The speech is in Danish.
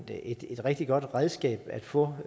det er et rigtig godt redskab at få